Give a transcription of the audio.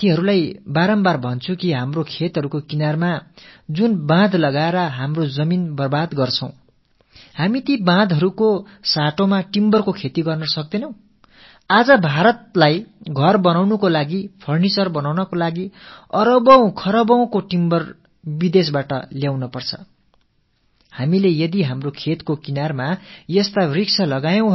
நான் மீண்டும் மீண்டும் என் விவசாய சகோதரர்களிடம் கேட்டுக் கொள்வது என்னவென்றால் நமது விளைநிலங்களின் எல்லையோரங்களில் மரங்களாலான வேலிகளை அமைத்து நமது நிலங்களை வீணாக்குவதற்கு பதிலாக நாம் ஏன் தேக்கு மரத்தை வளர்க்க கூடாது இன்று பாரதத்தில் வீடு கட்ட நாற்காலிகள் போன்ற பொருட்களைத் தயாரிக்க ஏகப்பட்ட மரத்தை நாம் அயல்நாடுகளிலிருந்து இறக்குமதி செய்யவேண்டி இருக்கிறது